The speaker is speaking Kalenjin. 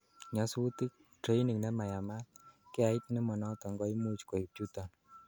nyasutik, training nemayamat, geait nemonoton koimuch koib chuton